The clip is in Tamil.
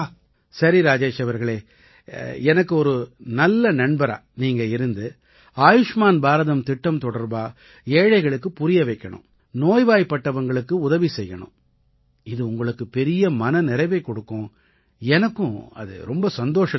சரி ராஜேஷ் அவர்களே எனக்கு ஒரு நல்ல நண்பரா நீங்க இருந்து ஆயுஷ்மான் பாரதம் திட்டம் தொடர்பா ஏழைகளுக்கு புரிய வைக்கணும் நோய்வாய்ப்பட்டவங்களுக்கு உதவி செய்யணும் இது உங்களுக்கு பெரிய மன நிறைவைக் கொடுக்கும் எனக்கும் அது ரொம்ப சந்தோஷத்தை அளிக்கும்